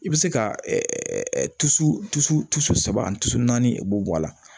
I bɛ se ka tusu tuso saba tuso naani i b'o bɔ a la